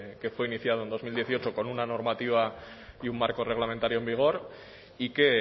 que fue iniciado en dos mil dieciocho con una normativa y un marco reglamentario en vigor y que